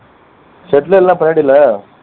shed ல இல்ல பின்னாடியில